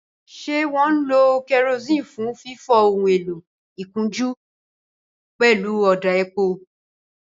Ṣé wọ́n ń lo kerosene fún fífọ ohun èlò ìkunjú pẹ̀lú ọ̀dà epo?